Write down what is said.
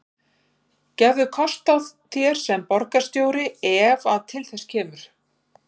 Gefurðu kost á þér sem borgarstjóri ef að til þess kemur?